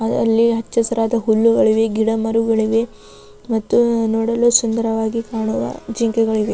ಆದಲ್ಲಿ ಹಚ್ಚ ಹಸಿರಾದ ಹುಲ್ಲುಗಳಿವೆ ಗಿಡ ಮರಗಳಿವೆ ಮತ್ತು ನೋಡಲು ಸುಂದರವಾಗಿ ಕಾಣುವ ಜಿಂಕೆಗಳಿವೆ.